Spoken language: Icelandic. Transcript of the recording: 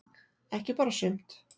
Ekki bara sumt.